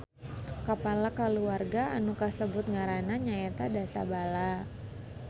Kapala kulawarga anu kasebut ngaranna nyaeta Dasabala